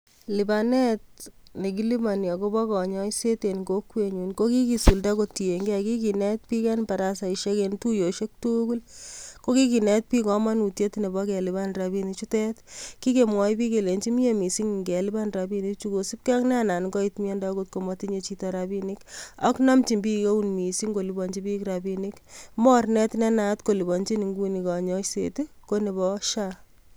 Lipanet nekiliponi akopo koinyoiset en kokwenyun kokikisulda kotienge kikinet biik en barasaisiek en tuiyosiek tugul kokikinet biik komonutiet nepo kelipan rapinichutet kikemwoi biik kelenchi mie missing ngelian rapinichu kosipge ak nenangoit miando akot komotinye chito rapinik ak nomchin biik eun missing kolipanchin biik rapinik mornet ne naat en nguni kolipanchin nguni konyoiset konepo social healthy authority{SHA}.